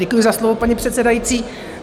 Děkuji za slovo, paní předsedající.